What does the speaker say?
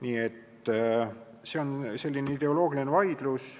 Nii et see on selline ideoloogiline vaidlus.